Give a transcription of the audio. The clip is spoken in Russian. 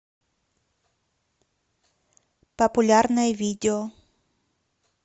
популярное видео